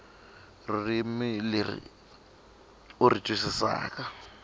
ririmi leri u ri twisisaka